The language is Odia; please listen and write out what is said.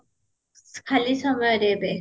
ଖାଲି ସମୟରେ ଏବେ